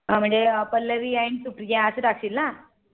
म्हणजे पल्लवी And सुप्रिया असं टाकशील ना